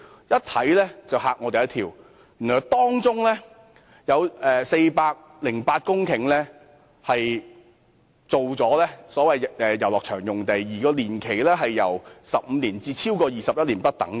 一看到答覆，我便嚇了一跳，原來當中有408公頃用作遊樂場用地，年期由15年至超過21年不等。